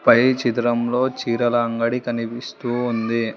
పై చిత్రంలో చీరల అంగడి కనిపిస్తూ ఉంది.